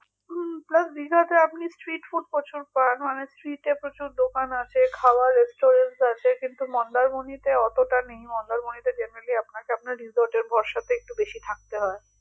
হুম plus দীঘাতে আপনি street food করেন street এর প্রচুর দোকান আছে খাবার restaurant আছে কিন্তু মন্দারমণীতে অতটা নেই মন্দারমণীতে আপনাকে generally আপনাকে আপনার resorts এর ভরসাতে একটু বেশি থাকতে হয়